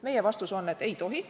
Meie vastus on, et ei tohi.